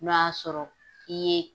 N'o y'a sɔrɔ k'i ye